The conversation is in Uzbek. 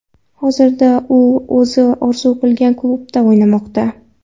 Hozirda u o‘zi orzu qilgan klubda o‘ynamoqda.